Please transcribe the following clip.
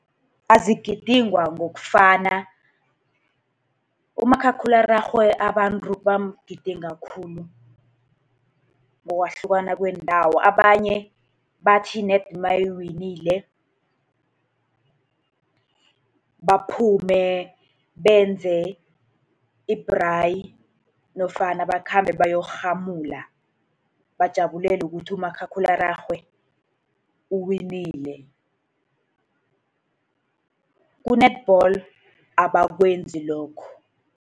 Azigidingwa ngokufana, umakhakhulararhwe abantu bamgidinga khulu ngokwahlukana kweendawo. Abanye bathi ned nayiwinile, baphume benze i-braai nofana bakhambe bayokurhamula bajabulele ukuthi umakhakhulararhwe uwinile. Ku-netball abakwenzi lokho.